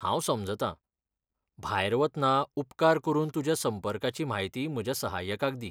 हांव समजता, भायर वतना उपकार करून तुज्या संपर्काची म्हायती म्हज्या सहाय्यकाक दी.